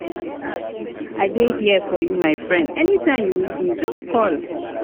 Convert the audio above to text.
i dey here for you my friend anytime you need me just call.